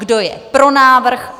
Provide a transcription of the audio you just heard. Kdo je pro návrh?